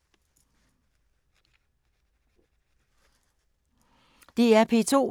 DR P2